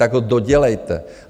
Tak ho dodělejte!